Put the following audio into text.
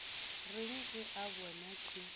reng ge a bona ke